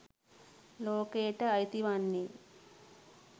ලෝකයට අයිති වන්නේ